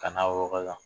Ka na wɔkɔ la